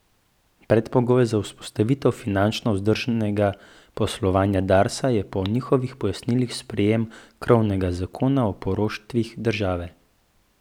Predpogoj za vzpostavitev finančno vzdržnega poslovanja Darsa je po njihovih pojasnilih sprejem krovnega zakona o poroštvih države.